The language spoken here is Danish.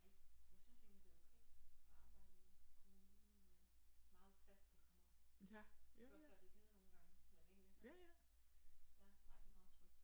Nej jeg synes egentlig det er okay at arbejde i kommunen med meget faste rammer de kan også være rigide nogle gange men egentlig så ja nej det er meget trygt